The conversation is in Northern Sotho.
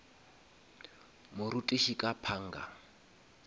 morutiši ka panga